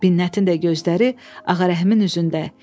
Binnətin də gözləri Ağarəhimin üzündə.